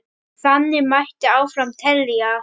Þannig mætti áfram telja.